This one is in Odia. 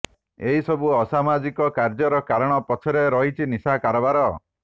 ଏହି ସବୁ ଅସାମାଜିକ କାର୍ଯ୍ୟର କାରଣ ପଛରେ ରହିଛି ନିଶା କାରବାର